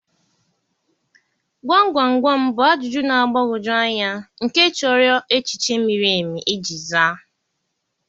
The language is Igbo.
Gwam gwam gwam bụ ajụjụ na-agbagwoju anya nke chọrọ echiche miri emi iji zaa.